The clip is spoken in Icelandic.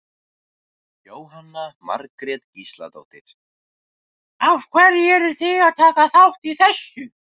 Jóhanna Margrét Gísladóttir: Af hverju eruð þið að taka þátt í þessu?